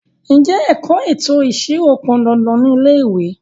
Ǹjẹ́ ẹ̀kọ́ ètò ìṣirò pọn dandan ni ilé ìwé?